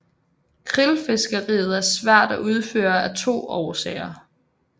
Krillfiskeriet er svært at udføre af to årsager